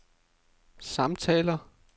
samtaler